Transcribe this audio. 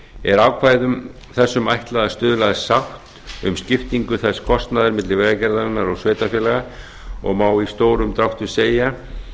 er ákvæðum þessum ætlað að stuðla að sátt um skiptingu þess kostnaðar milli vegagerðarinnar og sveitarfélaga og má í stórum dráttum segja